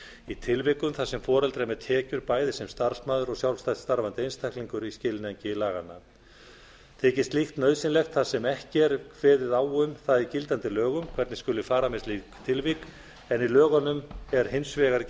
í tilvikum þar sem foreldrar með tekjur bæði sem starfsmaður og sjálfstætt starfandi einstaklingur í skilningi laganna þykir slíkt nauðsynlegt þar sem ekki er kveðið á um það í gildandi lögum hvernig skuli fara með slík tilvik en í lögunum er hins vegar